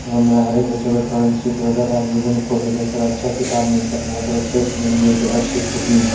हमारे बच्चो का ड्राइंग शीट वगेरा और विभिन्न कॉलेजो पर अच्छा किताब मिलता है और यहाँ एक सेल्समैन भी जो अच्छी छुट मिलता --